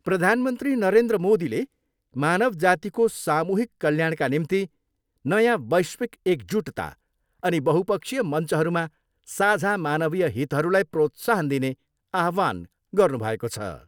प्रधानमन्त्री नरेन्द्र मोदीले मानवजातिको सामूहिक कल्याणका निम्ति नयाँ वैश्विक एकजुटता अनि बहुपक्षीय मञ्चहरूमा साझा मानवीय हितहरूलाई प्रोत्साहन दिने आह्वान गर्नुभएको छ।